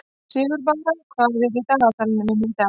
Sigurbára, hvað er í dagatalinu mínu í dag?